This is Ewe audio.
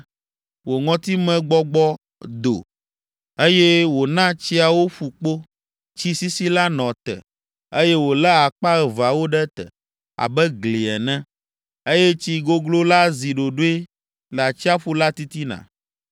Wò ŋɔtimegbɔgbɔ do, eye wòna tsiawo ƒu kpo. Tsi sisi la nɔ te, eye wòlé akpa aveawo ɖe te abe gli ene, eye tsi goglo la zi ɖoɖoe le atsiaƒu la titina.